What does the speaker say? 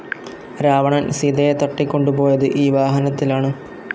രാവണൻ സീതയെ തട്ടികൊണ്ടുപോയത് ഈ വാഹനത്തിലാണ്.